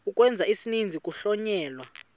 ukwenza isininzi kuhlonyelwa